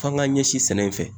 F'an g'a ɲɛsin sɛnɛ in fɛ